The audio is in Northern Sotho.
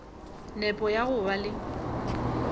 nepo ya go ba le